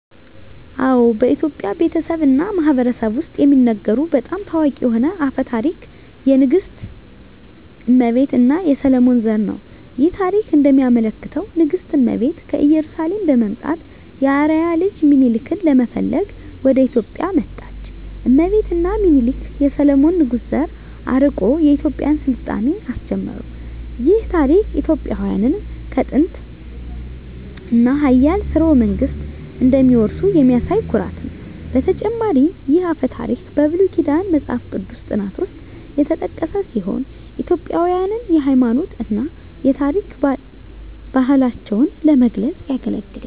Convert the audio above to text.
አዎ፣ በኢትዮጵያ ቤተሰብ እና ማህበረሰብ ውስጥ የሚነገሩ በጣም ታዋቂ የሆነ አፈ ታሪክ የንግሥት እመቤት እና የሰሎሞን ዘር ነው። ይህ ታሪክ እንደሚያመለክተው ንግሥት እመቤት ከኢየሩሳሌም በመምጣት የአርአያ ልጅ ሚኒሊክን ለመፈለግ ወደ ኢትዮጵያ መጣች። እመቤት እና ሚኒሊክ የሰሎሞን ንጉሥ ዘር አርቆ የኢትዮጵያን ሥልጣኔ አስጀመሩ። ይህ ታሪክ ኢትዮጵያውያን ከጥንታዊ እና ኃያል ሥርወ መንግሥት እንደሚወርሱ የሚያሳይ ኩራት ነው። በተጨማሪም ይህ አፈ ታሪክ በብሉይ ኪዳን መጽሐፍ ቅዱስ ጥናት ውስጥ የተጠቀሰ ሲሆን ኢትዮጵያውያንን የሃይማኖት እና የታሪክ ባህላቸውን ለመግለጽ ያገለግላል።